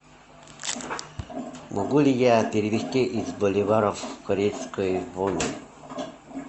могу ли я перевести из боливаров в корейскую вону